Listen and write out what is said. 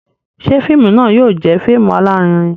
Ṣe fíìmù náà yóò jẹ fíìmù alarinrin?